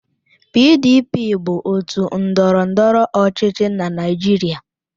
PDP bụ otu ndọrọndọrọ ọchịchị na Naịjirịa.